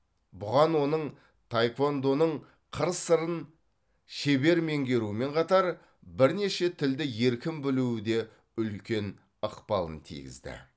бұған оның таеквондоның қыр сырын шебер меңгеруімен қатар бірнеше тілді еркін білуі де үлкен ықпалын тигізді